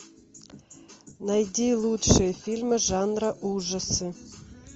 найди лучшие фильмы жанра ужасы